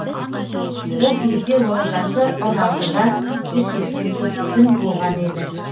ол кезде оның жасы он алты жас жүз сексен төрт күн болған еді